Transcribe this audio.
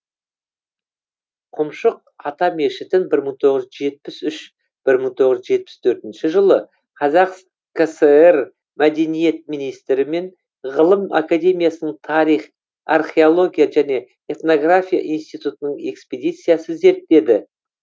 құмшық ата мешітін бір мың тоғыз жүз жетпіс үш бір мың тоғыз жүз жетпіс төртінші жылы қазақ кср мәдениет министрі мен ғылым академиясының тарих археология және этнография институтының экспедициясы зерттеді